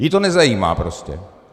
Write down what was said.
Ji to nezajímá prostě.